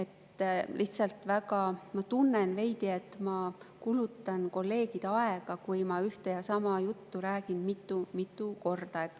Ma lihtsalt tunnen veidi, et ma kulutan kolleegide aega, kui ma ühte ja sama juttu räägin mitu-mitu korda.